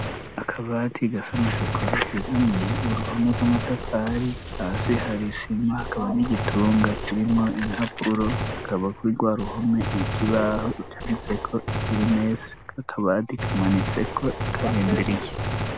Akabadi gasana sokora kigamiya uruhome rw'amatafari asi harisimwa hakaba n'igitunga kirimwo impapuro kaba kuri rwa ruhome ikibaho icanitseko kilimesi kakabadi kamanitseko karindiriye.